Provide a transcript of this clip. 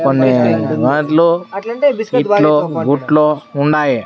కొన్ని దాంట్లో ఇట్లో బుట్లో ఉండాయి.